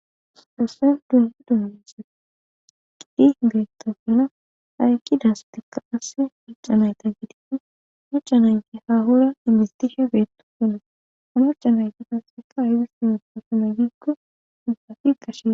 doossen duungu dumise qidi biittofina haykki daasstekka asse muccanayta gidiin muccanayti hahora imistisha beetto fina onoccanayta dasseka aydis dumupo fina giikko ihafi gashie